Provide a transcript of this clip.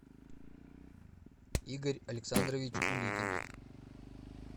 игорь александрович уликин